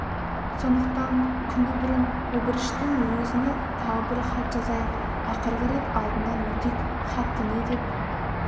сондықтан күні бұрын обыріштің өзіне тағы бір хат жазайық ақырғы рет алдынан өтейік хатты не деп